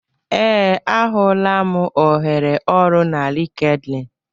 Ee, ahụla m ohere ọrụ na LinkedIn